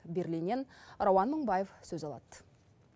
берлиннен рауан мыңбаев сөз алады